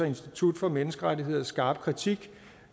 institut for menneskerettigheders skarpe kritik